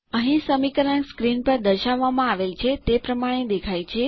અને સમીકરણ પડદાં પર દર્શાવ્યાં પ્રમાણે દેખાય છે